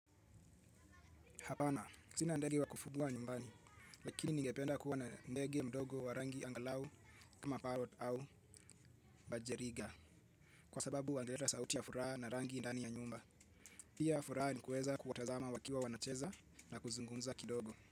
Hapana, sina ndege wa kufuga nyumbani, lakini ningependa kuwa na ndege mdogo wa rangi angalau kama parrot au budgerigar, kwa sababu wangeleta sauti ya furaha na rangi ndani ya nyumba. Pia furaha ni kuweza kuwatazama wakiwa wanacheza na kuzungumza kidogo.